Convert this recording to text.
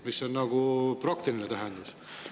See on nagu praktiline tähendus.